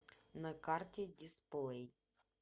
на карте дисплей